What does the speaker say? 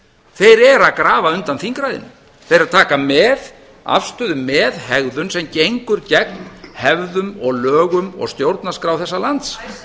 þeir eru að grafa undan þingræðinu þeir eru að taka afstöðu með hegðun sem gengur gegn hefðum og lögum og stjórnarskrá þessa lands